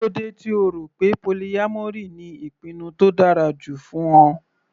Kílódé tí O rọ̀ pé polyamory ni ìpinnu tó dára jù fún Ọ.